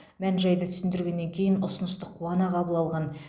мән жайды түсіндіргеннен кейін ұсынысты қуана қабыл алған